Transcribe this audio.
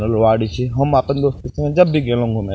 तलवारि छे हम आपन दोस्त के संगे जब भी गेनू घूमे --